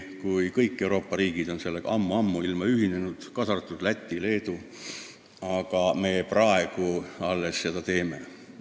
Kui kõik Euroopa riigid on sellega juba ammuilma ühinenud, kaasa arvatud Läti ja Leedu, miks meie alles praegu seda teeme?